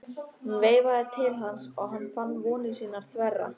Hún veifaði til hans og hann fann vonir sínar þverra.